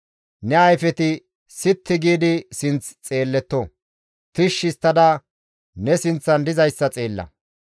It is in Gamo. Ne ayfeti sitti giidi sinth xeelletto; tishshi histtada ne sinththan dizayssa xeella.